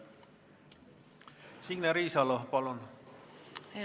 Signe Riisalo, palun!